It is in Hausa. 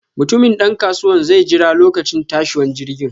Mutumin dan kasuwanan zai jera lokacin tashiwan jirgin.